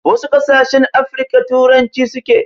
Wasu ƙasashen Afirika turanci suke.